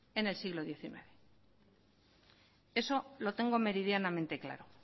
en el siglo diecinueve eso lo tengo meridianamente claro